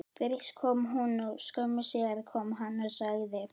Fyrst kom hún og skömmu síðar kom hann og sagði: